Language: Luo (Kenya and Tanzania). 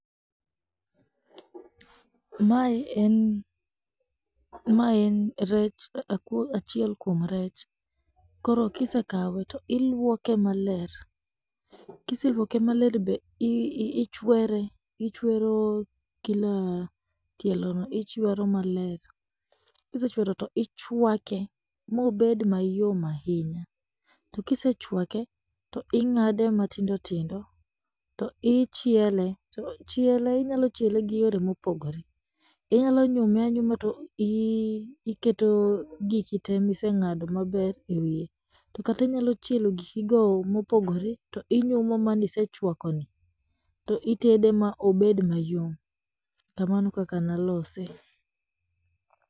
Mae en, maen rech akuo achiel kwom rech, koro kisekawe to ilwoke maler, kiselwoke maler be ichwere ichwero kila tielono ichwero maler, kisechwero to ichwake mobed mayom ahinya, to kisechwake to ing'ade matindotindo, to ichiele, to chiele inyalochiele gi yore mopogore, inyalonyume anyuma to iketo gikitee miseng'ado maber ewiye, to kata inyalochielo gikigo mopogore to inyumo manisechwakoni to itede ma obed mayom, kamano e kaka nalose.